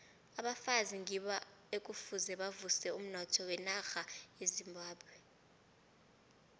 abafazi ngibo ekufuze bavuse umnotho wenarha yezimbabwe